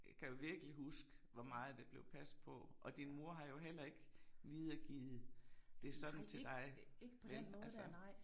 Kan jo virkelig huske hvor meget det blev passet på og din mor har jo heller ikke videregivet det sådan til dig vel altså